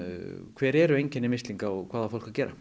hver eru einkenni mislinga og hvað á fólk að gera